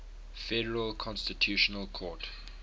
federal constitutional court